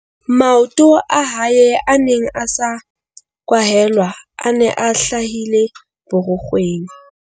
Maoto a hae a neng a sa kwahelwa a ne a hlahile borukgweng.